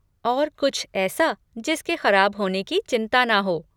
और कुछ ऐसा जिसके ख़राब होने की चिंता ना हो!